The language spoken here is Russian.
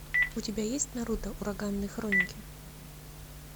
у тебя есть наруто ураганные хроники